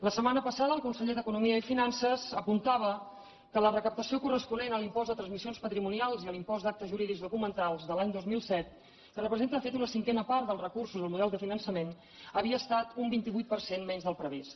la setmana passada el conseller d’economia i finances apuntava que la recaptació corresponent a l’impost de transmissions patrimonials i a l’impost d’actes jurídics documentats de l’any dos mil set que representa de fet una cinquena part dels recursos del model de finançament havia estat un vint vuit per cent menys del previst